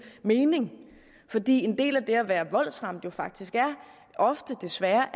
mening fordi en del af det at være voldsramt jo faktisk desværre